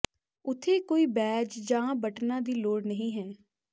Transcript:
ਉੱਥੇ ਕੋਈ ਬੈਜ ਜਾਂ ਬਟਨਾਂ ਦੀ ਲੋੜ ਨਹੀਂ ਹੈ